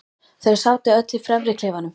Þau sátu öll í fremri klefanum.